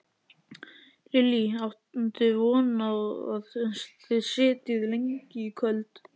Lillý: Áttu von á að þið sitjið lengi í kvöld?